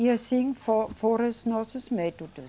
E assim fo foram os nossos métodos.